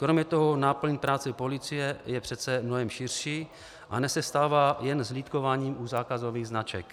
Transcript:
Kromě toho náplň práce policie je přece mnohem širší a nesestává jen z hlídkování u zákazových značek.